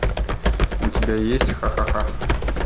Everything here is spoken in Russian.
у тебя есть ха ха ха